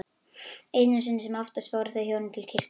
Einu sinni sem oftar fóru þau hjónin til kirkju.